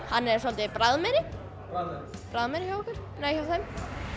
hann er svolítið bragðmeiri bragðmeiri hjá þeim